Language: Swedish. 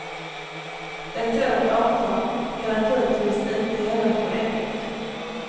Ett sådant avtal kan naturligtvis inte gälla för evigt.